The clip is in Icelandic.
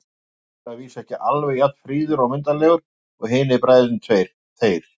Ísleifur er að vísu ekki alveg jafn fríður og myndarlegur og hinir bræðurnir tveir, þeir